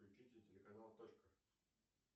включите телеканал точка